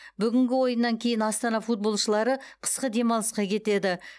бүгінгі ойыннан кейін астана футболшылары қысқы демалысқа кетеді